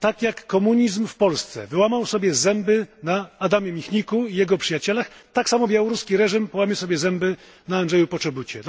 Tak jak komunizm w Polsce wyłamał sobie zęby na Adamie Michniku i jego przyjaciołach, tak samo białoruski reżim połamie sobie zęby na Andrzeju Poczobucie.